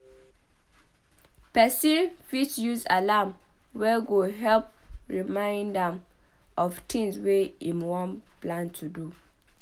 Person fit use alarm wey go help remind am of things wey im plan to do